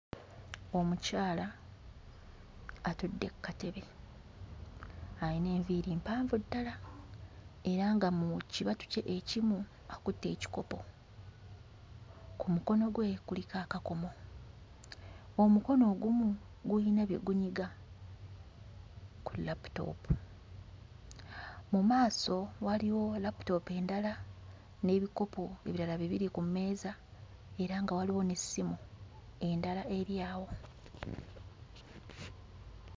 Omukyala atudde kkatebe ayina enviiri mpanvu ddala era nga mu kibatu kye ekimu akutte ekikopo ku mukono gwe kuliko akakomo. Omukono ogumu guyina bye gunyiga ku laputoopu. Mu maaso waliwo laputoopu endala n'ebikopo ebirala bibiri ku mmeeza era nga waliwo n'essimu endala eri awo.